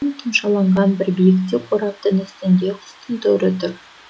тұмшаланған бір биіктеу қораптың үстінде құстың торы тұр